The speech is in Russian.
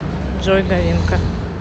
джой говенка